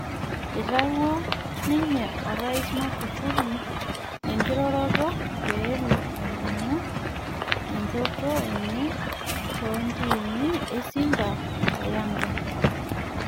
Eitawuo ninye orais Magufuli enkiroroto peelo alimu enjoto enye toontimi e Simba o yanga